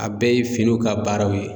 A bɛɛ ye finiw ka baaraw ye